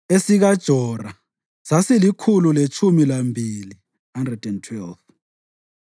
esikaJora sasilikhulu letshumi lambili (112),